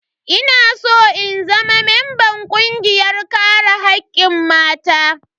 Ina san in zama mamban kungiyar kare hakkin mata.